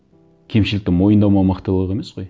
кемшілікті мойындамау мықтылық емес қой